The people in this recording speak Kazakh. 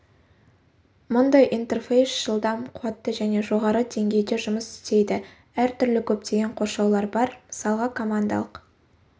мұндай интерфейс жылдам қуатты және жоғарғы деңгейде жұмыс істейді әр түрлі көптеген қоршаулар бар мысалға командалық